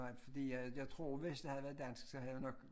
Nej fordi at jeg tror hvis det havde været danskere så havde vi nok